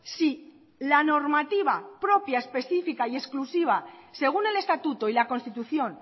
si la normativa propia específica y exclusiva según el estatuto y la constitución